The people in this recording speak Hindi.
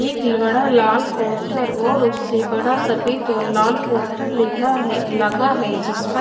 एक बड़ा लाल पोस्टर और उससे बड़ा सफेद और लाल पोस्टर लेगा है लगा है जिस पर--